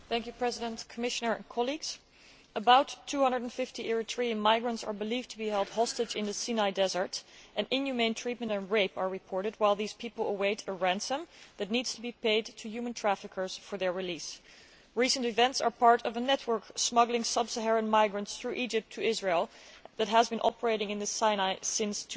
Mr President, about 250 Eritrean migrants are believed to be held hostage in the Sinai desert and inhumane treatment and rape are reported while these people await a ransom that needs to be paid to human traffickers for their release. Recent events are part of a network smuggling sub Saharan migrants through Egypt to Israel that has been operating in the Sinai since